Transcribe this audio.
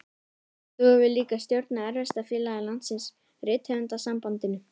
Og þú hefur líka stjórnað erfiðasta félagi landsins, Rithöfundasambandinu.